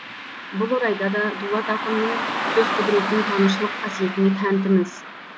бұл орайда да дулат ақынның сөз құдіретін танушылық қасиетіне тәнтіміз